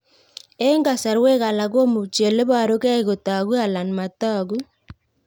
Eng' kasarwek alak komuchi ole parukei kotag'u kila anan matag'u